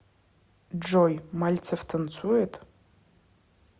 джой мальцев танцует